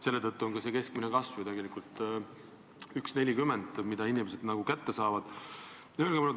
Selle tõttu on ka see keskmine kasv, mille inimesed kätte saavad, tegelikult 1,40.